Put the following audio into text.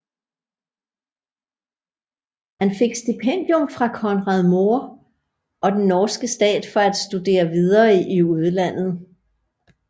Han fik stipendium fra Conrad Mohr og den norske stat for at studere videre i udlandet